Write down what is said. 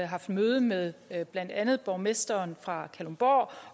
haft møde med blandt andet borgmesteren fra kalundborg